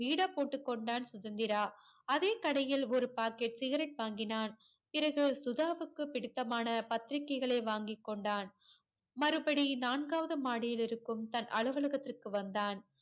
பீடா போட்டு கொண்டான் சுதந்திரா அதே கடையில் ஒரு பாக்கெட் சிகரெட் வாங்கினான் பிறகு சுதாவுக்கு பிடித்தமான பத்திரிகைகளை வாங்கி கொண்டான் மறுபடி நான்காவது மாடியில் இருக்கும் தன் அலுவலகத்திற்கு வந்தான்